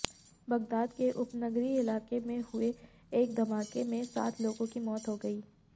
Baghdad के उपनगरीय इलाके में हुए एक धमाके में सात लोगों की मौत हो गई